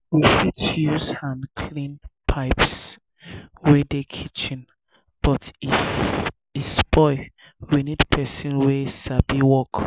we fit use hand clean um pipes wey dey kitchen but if e spoil we need person wey sabi work